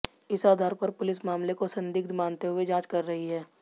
इस आधार पर पुलिस मामले को संदिग्ध मानते हुए जांच कर रही है